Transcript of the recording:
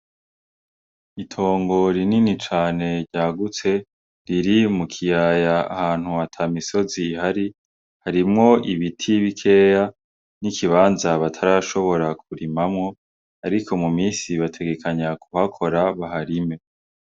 Itongo rinini cane ryagutse riri mu kiyaya ahantu atamisozi ihari harimwo ibiti bikeya n'ikibanza batarashobora ku rimamwo ariko mu minsi bategekanya ku hakora baharime.